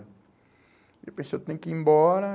Aí eu pensei, eu tenho que ir embora.